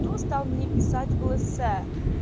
кто стал мне писать в лс